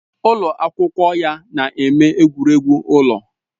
Ụlọ akwụkwọ ya na-eme egwuregwu ụlọ